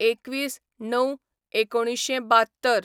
२१/०९/१९७२